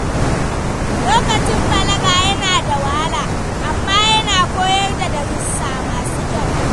Lokacin balaga yana da wahala, amma yana koyar da darussa masu kyau.